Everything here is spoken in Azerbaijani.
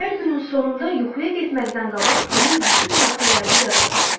Hər günün sonunda yuxuya getməzdən qabaq günün bütün hadisələrini yada salın.